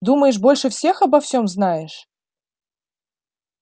думаешь больше всех обо всем знаешь